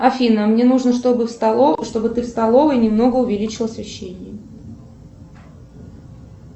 афина мне нужно чтобы ты в столовой немного увеличила освещение